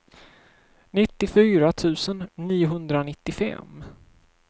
nittiofyra tusen niohundranittiofem